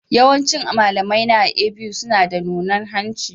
Yawancin malamaina a A.B.U suna da nunan hanci.